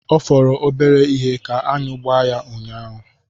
Ọ fọrọ obere ihe ka aṅụ gbaa ya unyaahụ.